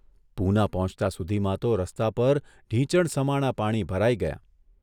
પૂના પહોંચતા સુધીમાં તો રસ્તા પર ઢીંચણસમાણાં પાણી ભરાઇ ગયાં.